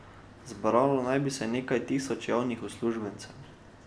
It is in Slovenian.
Zbralo naj bi se nekaj tisoč javnih uslužbencev.